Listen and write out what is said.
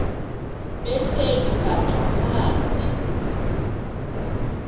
behleli bhaxa phantsi